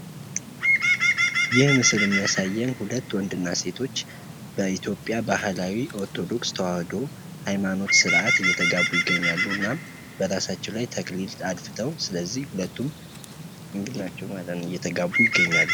ይህ ምስል የሚያሳየን ሁለት ወንድ እና ሴቶች በኢትዮጵያ ባህላዊ ኦርቶዶክስ ተዋህዶ ኃይማኖት ስርዓት እየተጋቡ ይገኛሉ። እና በራሳቸዉ ላይ ተክሊል አድፍተዉ ስለዚህ ሁለቱም ድንግል ናቸዉ ማለት ነዉ። እየተጋቡ ይገኛሉ።